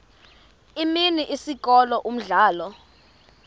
imini isikolo umdlalo